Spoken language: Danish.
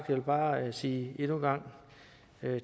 gang bare sige